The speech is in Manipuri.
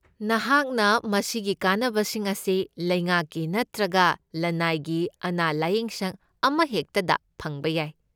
ꯅꯍꯥꯛꯅ ꯃꯁꯤꯒꯤ ꯀꯥꯟꯅꯕꯁꯤꯡ ꯑꯁꯤ ꯂꯩꯉꯥꯛꯀꯤ ꯅꯠꯇ꯭ꯔꯒ ꯂꯅꯥꯏꯒꯤ ꯑꯅꯥ ꯂꯥꯢꯌꯦꯡꯁꯪ ꯑꯃꯍꯦꯛꯇꯗ ꯐꯪꯕ ꯌꯥꯏ꯫